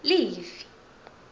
livi